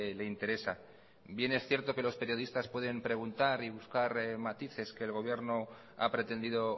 le interesa bien es cierto que los periodistas pueden preguntar y buscar matices que el gobierno ha pretendido